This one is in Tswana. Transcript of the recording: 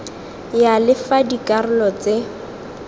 ya le fa dikarolo tse